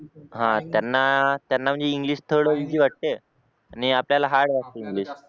हा त्यांना म्हणजे इंग्लिश थोडं ईझि वाटते आणि आपल्याला हार्ड वाटते इंग्लिश